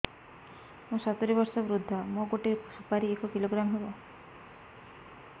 ମୁଁ ସତୂରୀ ବର୍ଷ ବୃଦ୍ଧ ମୋ ଗୋଟେ ସୁପାରି ଏକ କିଲୋଗ୍ରାମ ହେବ